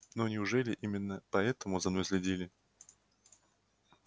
но неужели именно поэтому за мной следили